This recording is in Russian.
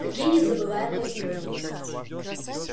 какие незабываемые минуту